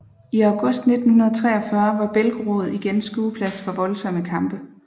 I August 1943 var Belgorod igen skueplads for voldsomme kampe